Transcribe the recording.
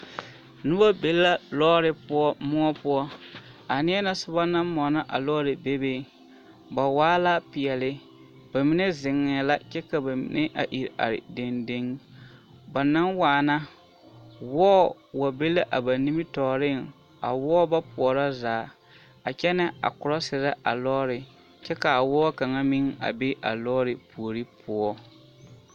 Noba be la lɔɔre poɔ moɔ poɔ, a neɛ na soba naŋ mɔnɔ a lɔɔre bebe, ba waa la peɛle, bamine zeŋɛɛ la kyɛ ka bamine a iri are dendeŋ, ba naŋ waana, wɔɔ wa be la a ba nimitɔɔreŋ, a wɔɔ ba poɔrɔ zaa a kyɛnɛ ɛ korɔserɛ a lɔɔre kyɛ k'a wɔɔ kaŋa meŋ a be a lɔɔre puori poɔ.